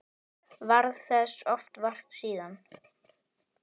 Varð þess oft vart síðan.